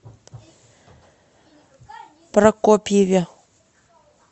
прокопьеве